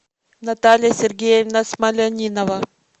наталья сергеевна смолянинова